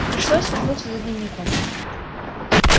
пришлось вернуться за дневником